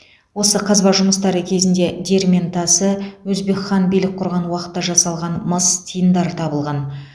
осы қазба жұмыстары кезінде диірмен тасы өзбек хан билік құрған уақытта жасалған мыс тиындар табылған